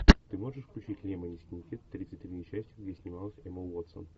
ты можешь включить лемони сникет тридцать три несчастья где снималась эмма уотсон